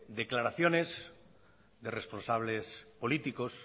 de declaraciones de responsables políticos